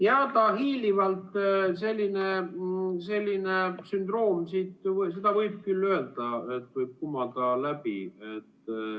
Jaa, seda võib küll öelda, et selline sündroom võib siit hiilivalt kumada läbi.